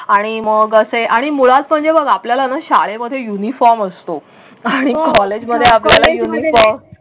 आणि मग असे आणि मुळात म्हणजे मग आपल्याला शाळेमध्ये येऊनही फॉर्म असतो आणि कॉलेजमध्ये.